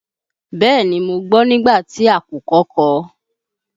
Bẹ́ẹ̀ni, mo gbọ́ nígbà tí àkùkọ kọ.